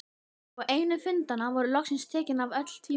Og á einum fundanna voru loksins tekin af öll tvímæli.